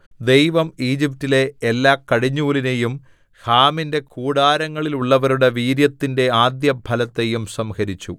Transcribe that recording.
ദൈവം ഈജിപ്റ്റിലെ എല്ലാ കടിഞ്ഞൂലിനെയും ഹാമിന്റെ കൂടാരങ്ങളിലുള്ളവരുടെ വീര്യത്തിന്റെ ആദ്യഫലത്തെയും സംഹരിച്ചു